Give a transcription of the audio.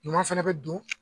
Ɲuman fɛnɛ bɛ don